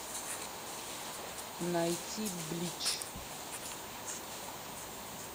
найти блич